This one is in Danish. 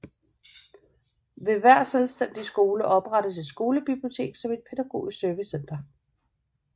Ved hver selvstændig skole oprettes et skolebibliotek som et pædagogisk servicecenter